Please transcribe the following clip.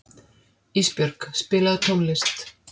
Ísbjörg, spilaðu tónlist.